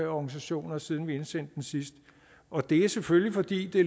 organisationer siden vi indsendte det sidst og det er selvfølgelig fordi